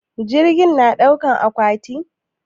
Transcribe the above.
Jirgi na ɗaukan akwati?